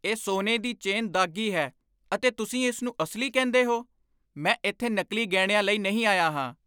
ਇਹ ਸੋਨੇ ਦੀ ਚੇਨ ਦਾਗ਼ੀ ਹੈ ਅਤੇ ਤੁਸੀਂ ਇਸ ਨੂੰ ਅਸਲੀ ਕਹਿੰਦੇ ਹੋ? ਮੈਂ ਇੱਥੇ ਨਕਲੀ ਗਹਿਣਿਆਂ ਲਈ ਨਹੀਂ ਆਇਆ ਹਾਂ!